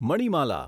Manimala